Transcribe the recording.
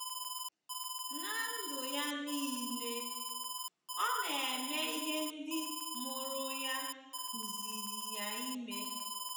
Ná ndụ ya nile, o na-eme ihe ndị mụrụ ya kụziiri ya ime.